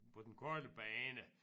På den korte bane